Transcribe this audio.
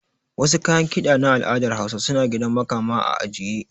Wasu kayan kiɗan na al'adar hausa suna gidan makama a ajiye